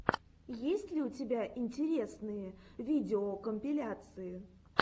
есть ли у тебя интересные видеокомпиляции